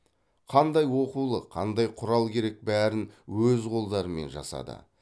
қандай оқулық қандай құрал керек бәрін өз қолдарымен жасады